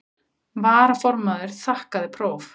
Varaformaður þakkaði próf.